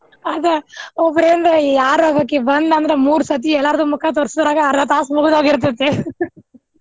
ಅದ ಒಬ್ಬರಿಂದ್ ಯಾರ್ ಒಬ್ಬಕಿ ಬಂದ್ಲಂದ್ರ ಮೂರ್ ಸರ್ತಿ ಎಲ್ಲಾರ್ದು ಮುಖ ತೋರಸೂರ್ ದಾಗ್ ಅರ್ಧಾ ತಾಸ್ ಮುಗದ್ ಹೋಗಿರ್ತೇತಿ .